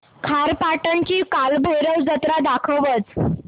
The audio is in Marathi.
खारेपाटण ची कालभैरव जत्रा दाखवच